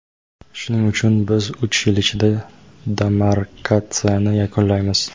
shuning uchun biz uch yil ichida demarkatsiyani yakunlaymiz.